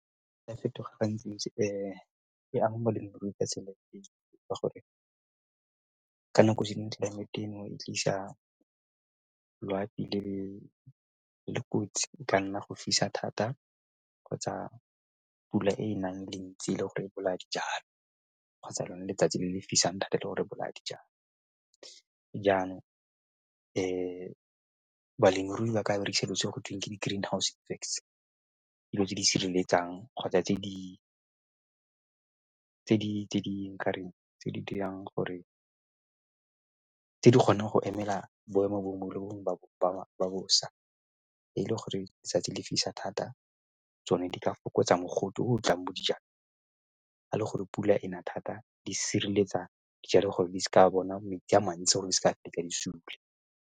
Ya fetoga ga ntsi-ntsi e ame balemirui ka tsela ka gore ka nako e ditlelaemete eno e tlisa loapi le le kotsi ka nna go fisa thata kgotsa pula e nang e le ntsi e le gore e bolaya dijalo kgotsa lone letsatsi le fisa le tlile go re bolaya dijalo. Balemirui ba ka berekisa selo se go tweng ke di-green house effects. Dilo tse di sireletsang kgotsa tse di nkare tse di dirang gore, tse di kgonang go emela boemo bo bongwe le bo bongwe ba bosa e le gore 'tsatsi le fisa thata, tsone di ka fokotsa mogote o o jang dijalo a le gore pula ena thata di sireletsa dijalo gore di seka bona metsi a mantsi gore di seka fetsa di sule.